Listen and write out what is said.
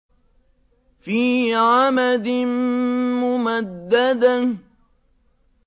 فِي عَمَدٍ مُّمَدَّدَةٍ